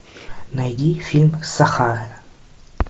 найди фильм сахара